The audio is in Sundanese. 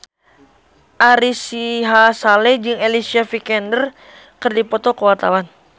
Ari Sihasale jeung Alicia Vikander keur dipoto ku wartawan